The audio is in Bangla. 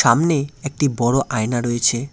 সামনে একটি বড়ো আয়না রয়েছে।